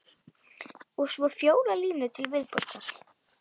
Og svo fjórar línur til viðbótar